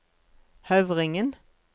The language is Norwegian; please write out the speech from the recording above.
Høvringen